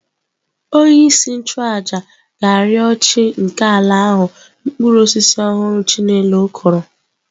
Onyeisi nchụàjà ga-arịọ chi nke ala ahụ mkpụrụ osisi ọhụrụ"" chinelo kwuru"